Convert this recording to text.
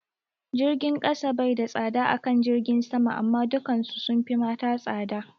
Jirgin kasa bai da tsada akan jirgin sama amma dukan su sunfi mata tsada